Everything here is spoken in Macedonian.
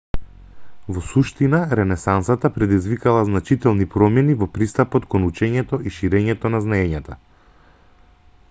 во суштина ренесансата предизвикала значителни промени во пристапот кон учењето и ширењето на знаењата